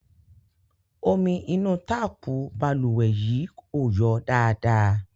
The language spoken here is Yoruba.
Omi inú táàpù balùwẹ̀ yìí ò yọ dáadáa.